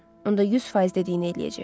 Onda 100% dediyini eləyəcək.